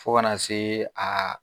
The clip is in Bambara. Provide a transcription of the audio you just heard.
Fo kana se a